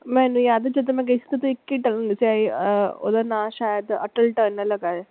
ਮੈਨੂੰ ਯਾਦ ਹੈ ਜਦੋਂ ਮੈਂ ਗਈ ਸੀ ਓਦੋਂ ਇੱਕ ਹੀ tunnel ਸੀ ਆਹ ਓਹਦਾ ਨਾਮ ਸ਼ਾਇਦ ਅਟੱਲ ਟਨੱਲ ਹੈਗਾ।